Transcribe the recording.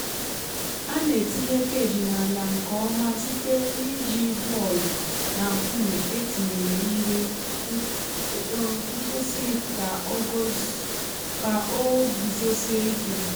a na-etinye cage n’ala nke ọma site n’iji bọọlụ na nkume etinyere ihe nkwụsị ka o guzosie ike.